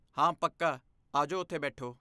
ਹਾਂ, ਪੱਕਾ! ਆਜੋ ਓਥੇ ਬੈਠੋ।